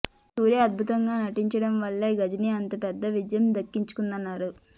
సూర్య అద్భుతంగా నటించడం వల్లే గజిని అంత పెద్ద విజయం దక్కించుకుందన్నారు